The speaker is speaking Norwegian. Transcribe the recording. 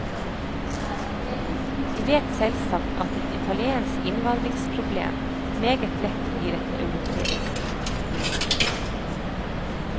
De vet selvsagt at et italiensk innvandringsproblem meget lett blir et europeisk.